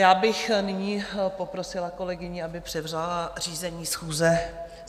Já bych nyní poprosila kolegyni, aby převzala řízení schůze.